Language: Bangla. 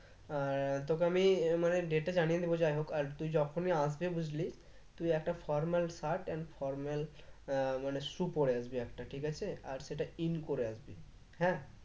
আহ তোকে আমি আহ মানে date টা জানিয়ে দেবো যাই হোক আর তুই যখনই আসবি বুঝলি তুই একটা formal shirt and formal আহ মানে shoe পরে আসবি একটা ঠিক আছে? আর সেটা in করে আসবি হ্যাঁ?